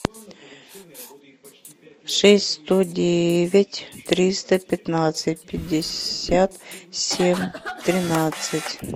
шесть сто девять триста пятнадцать пятьдесят семь тринадцать